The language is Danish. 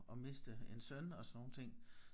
At miste en søn og sådan nogle ting